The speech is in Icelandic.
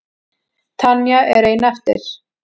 Tanya er ein eftir.